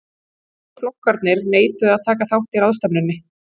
Stóru flokkarnir neituðu að taka þátt í ráðstefnunni.